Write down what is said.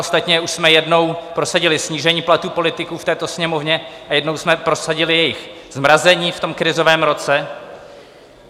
Ostatně už jsme jednou prosadili snížení platů politiků v této Sněmovně a jednou jsme prosadili jejich zmrazení v tom krizovém roce.